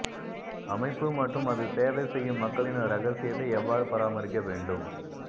அமைப்பு மற்றும் அது சேவை செய்யும் மக்களின் இரகசியத்தை எவ்வாறு பராமரிக்க வேண்டும்